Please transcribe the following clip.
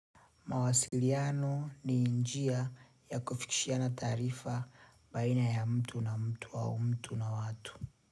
Mawasiliano ni njia ya kufikishiana taarifa baina ya mtu na mtu au mtu na watu.